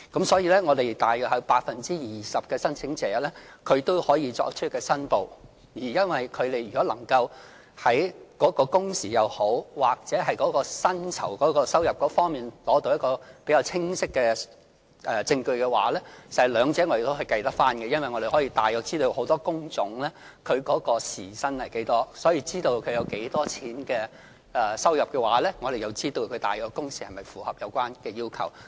所以，有大約 20% 的申請者可以作出申報，而如果他們能夠在工時或薪酬收入方面提供比較清晰的證據的話，我們亦可以計算出來，因為我們大約知道很多工種的大約時薪是多少，所以，如果知道申請人有多少收入的話，我們便知道其工時是否符合有關要求。